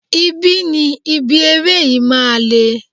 Ibi ni ibi eré yìí máa le.